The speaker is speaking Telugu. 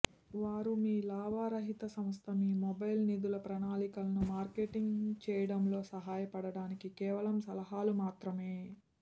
వారు మీ లాభరహిత సంస్థ మీ మొబైల్ నిధుల ప్రణాళికలను మార్కెటింగ్ చేయడంలో సహాయపడటానికి కేవలం సలహాలు మాత్రమే